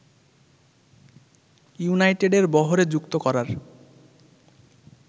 ইউনাইটেডের বহরে যুক্ত করার